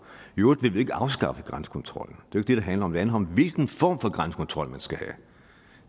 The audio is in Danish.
i øvrigt vil vi ikke afskaffe grænsekontrollen det er det det handler om det handler om hvilken form for grænsekontrol man